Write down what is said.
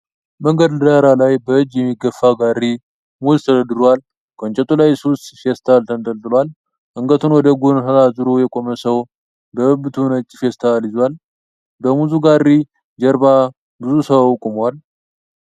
መንገድ ዳር ላይ በእጅ በሚገፋ ጋሪ ሙዝ ተደርድሯል። ከእንጨቱ ላይ ስስ ፌስታል ተንጠልጥሏል። አንገቱን ወደ ኋላ ዞሮ የቆመ ሰዉ በብብቱ ነጭ ፌስታል ይዟል። በሙዙ ጋሪ ጀርባ ብዙ ሰዉ ቆሟል።